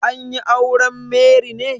An yi auren Mary ne?